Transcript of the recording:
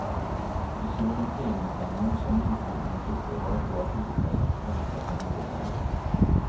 De såg en tidningsannons om insamlingen och tyckte det var ett bra tillfälle att rensa i garderoberna.